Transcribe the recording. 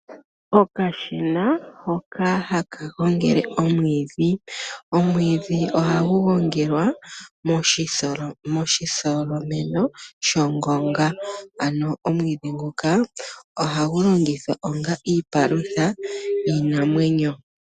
Okashina hoka haka gongele omwiidhi. Omwiidhi ohagu gongelwa moshitholomeno shongonga. Ano omwiidhi nguka ohagu longithwa onga iipalutha yiinanwenyo.